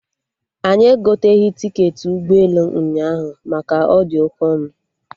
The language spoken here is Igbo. Anyị egoteghị tiketi ig k ala ụnyaahụ maka ọ dị oke ọnụ